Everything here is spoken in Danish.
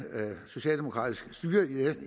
socialdemokratisk styre